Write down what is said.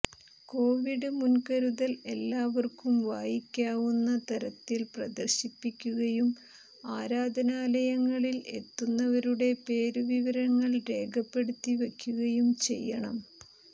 Covid മുൻകരുതൽ എല്ലാവര്ക്കും വായിക്കാവുന്ന തരത്തിൽ പ്രദര്ശിപ്പിക്കുകയും ആരാധനാലയങ്ങളിൽ എത്തുന്നവരുടെ പേരു വിവരങ്ങൾ രേഖപ്പെടുത്തി വക്കുകയും ചെയ്യണം